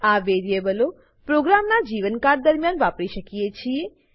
આ વેરીએબલો પ્રોગ્રામના જીવનકાળ દર્મ્યાન વાપરી શકીએ છીએ